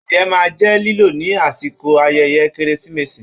Adìyẹ máa n jẹ lilọ ni àsìkò ayẹyẹ keresimesi.